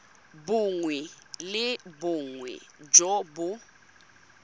bongwe le bongwe jo bo